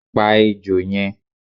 Pa ejò yen